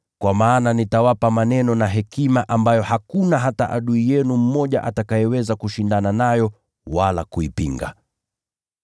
Kwa maana nitawapa maneno na hekima ambayo hakuna hata adui yenu mmoja atakayeweza kushindana nayo wala kuipinga.